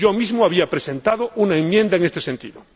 Yo mismo había presentado una enmienda en este sentido.